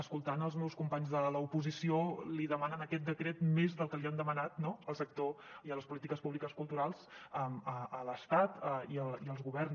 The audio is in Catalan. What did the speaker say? escoltant els meus companys de l’oposició li demanen a aquest decret més del que li han demanat no al sector i a les polítiques públiques culturals a l’estat i als governs